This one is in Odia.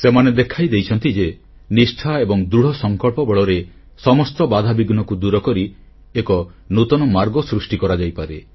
ସେମାନେ ଦେଖାଇ ଦେଇଛନ୍ତି ଯେ ନିଷ୍ଠା ଏବଂ ଦୃଢ଼ସଂକଳ୍ପ ବଳରେ ସମସ୍ତ ବାଧାବିଘ୍ନକୁ ଦୂରକରି ଏକ ନୂତନ ମାର୍ଗ ସୃଷ୍ଟି କରାଯାଇପାରେ